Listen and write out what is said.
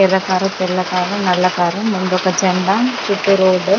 ఎర్ర కార్ తెల్ల కార్ నల్ల కార్ ముందు ఒక జండా చుట్టూ రోడ్ .